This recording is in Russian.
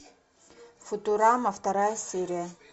футурама вторая серия